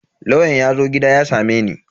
Lauyan yazo gida ya sameni.